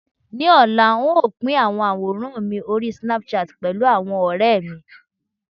ní ọlá, n o Pin awọn aworan mi ori Snapchat pẹlu awon ore mi